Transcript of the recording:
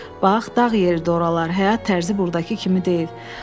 Bax, dağ yeridir oralar, həyat tərzi burdakı kimi deyil.